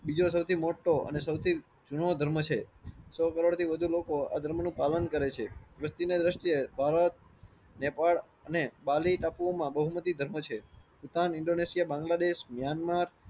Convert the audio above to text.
બીજો સૌથી મોટ્ટો અને સૌથી જૂનો ધર્મ છે. સો કરોડ થયો વધારે લોકો આ ધર્મ નું પાલન કરે છે. વસ્તીની દ્રષ્ટિએ ભારત નેપાળ અને બાલી ટાપુઓ માં બહુમતી ધર્મ છે. ઈશાન ઇન્ડોનેશિયા બંગલા દેશ મ્યાનમાર